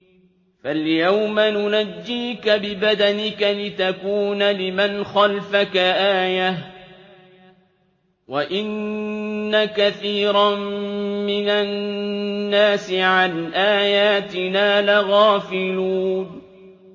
فَالْيَوْمَ نُنَجِّيكَ بِبَدَنِكَ لِتَكُونَ لِمَنْ خَلْفَكَ آيَةً ۚ وَإِنَّ كَثِيرًا مِّنَ النَّاسِ عَنْ آيَاتِنَا لَغَافِلُونَ